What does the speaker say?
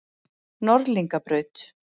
Norðlingabraut